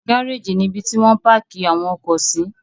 Gárájì nibi ti wọ́n ń páákì àwọn ọkọ̀ sí.